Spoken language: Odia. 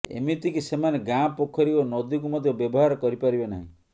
ଏମିତିକି ସେମାନେ ଗାଁ ପୋଖରୀ ଓ ନଦୀକୁ ମଧ୍ୟ ବ୍ୟବହାର କରିପାରିବେ ନାହିଁ